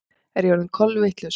Er ég orðin kolvitlaus?